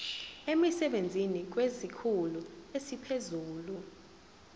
emsebenzini kwesikhulu esiphezulu